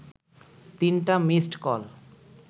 তিনটা missed call